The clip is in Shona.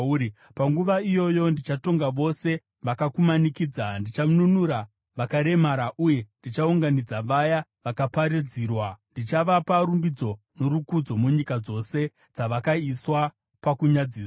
Panguva iyoyo ndichatonga vose vakakumanikidza; ndichanunura vakaremara uye ndichaunganidza vaya vakaparadzirwa. Ndichavapa rumbidzo norukudzo munyika dzose dzavakaiswa pakunyadziswa.